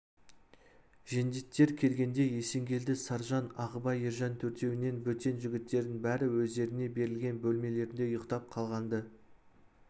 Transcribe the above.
жендеттер келгенде есенгелді саржан ағыбай ержан төртеуінен бөтен жігіттердің бәрі өздеріне берілген бөлмелерінде ұйықтап қалған-ды